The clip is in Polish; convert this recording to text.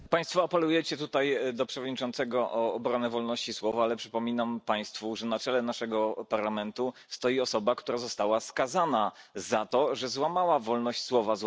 Panie Przewodniczący! Państwo apelujecie tutaj do Przewodniczącego o obronę wolności słowa, ale przypominam Państwu, że na czele naszego Parlamentu stoi osoba, która została skazana za to, że złamała wolność słowa.